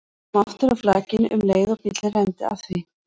Kom aftur að flakinu um leið og bíllinn renndi að því.